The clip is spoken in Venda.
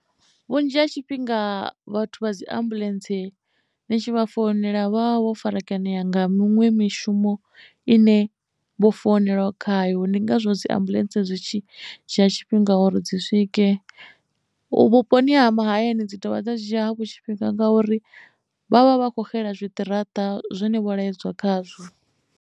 Vhunzhi ha tshifhinga vhathu vha dzi ambuḽentse ni tshi vha founela vha vho farakanea nga miṅwe mishumo ine vho founeliwa khayo ndi ngazwo dzi ambuḽentse dza zwi tshi dzhia tshifhinga uri dzi swike vhuponi ha mahayani dzi dovha dza dzhia havho tshifhinga ngauri vha vha vha kho xela zwiṱaraṱa zwine vho laedzwa khazwo.